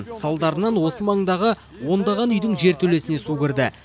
салдарынан осы маңдағы ондаған үйдің жертөлесіне су кірді